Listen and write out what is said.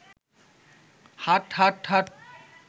হাট হাট হাট